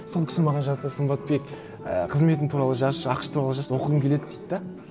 сол кісі маған жазды сымбатбек і қызметің туралы жазшы ақш турады жазшы оқығым келеді дейді де